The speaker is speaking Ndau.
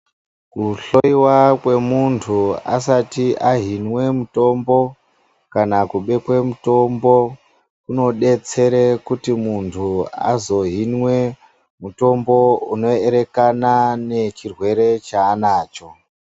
Kuhloiwa kwemuntu asati ahinwe mutombo kana kubekwe mutombo. Kunodetsera kuti muntu azohinwe mutombo unoerekana nechirwere chaanacho .